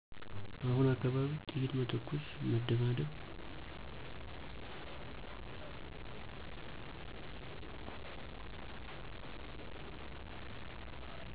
አሁነ አካባቢ ጥይት መተኮስ መደባደብ